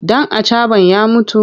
Ɗan acaɓan ya mutu?